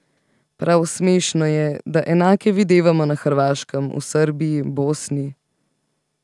Prav smešno je, da enake videvamo na Hrvaškem, v Srbiji, Bosni.